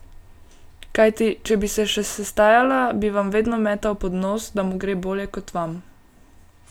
Kajti, če bi se še sestajala, bi vam vedno metal pod nos, da mu gre bolje, kot vam.